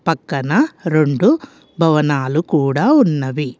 పక్కన రెండు భవనాలు కూడా ఉన్నవి.